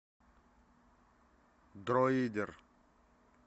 дроидер